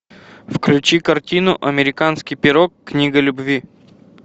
включи картину американский пирог книга любви